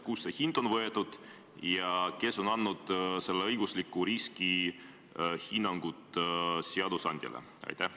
Kust see hind on võetud ja kes on selle õigusliku riski hinnangud seadusandjale andnud?